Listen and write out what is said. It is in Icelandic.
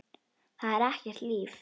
Það er ekkert líf.